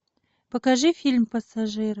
покажи фильм пассажир